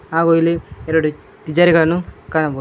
ಹಾಗು ಇಲ್ಲಿ ಎರಡು ತಿಜೋರಿ ಕಾಣಬೋದು.